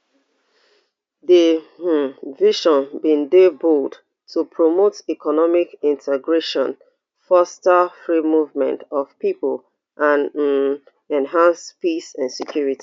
di um vision bin dey bold to promote economic integration foster free movement of pipo and um enhance peace and security